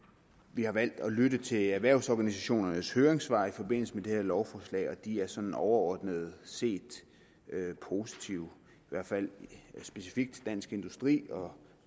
vi har valgt at lytte til erhvervsorganisationernes høringssvar i forbindelse med det her lovforslag og de er sådan overordnet set positive specifikt dansk industri og